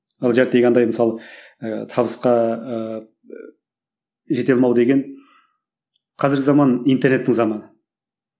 ал андай мысалы ыыы табысқа ыыы жете алмау деген қазіргі заман интернеттің заманы